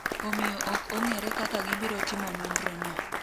omiyo ok ong'ere kaka gibiro timo nonro no